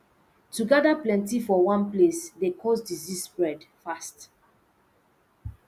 to gather plenty for one place dey cause disease spread fast